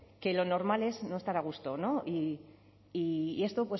que lo normal es no estar a gusto y esto